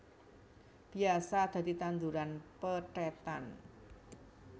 Biasa dadi tanduran pethètan